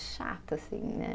Chata, assim, né?